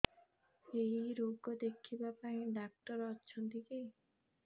ଏଇ ରୋଗ ଦେଖିବା ପାଇଁ ଡ଼ାକ୍ତର ଅଛନ୍ତି କି